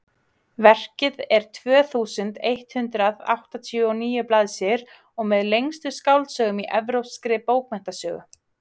verkið er tvö þúsund eitt hundruð áttatíu og níu blaðsíður og með lengstu skáldsögum í evrópskri bókmenntasögu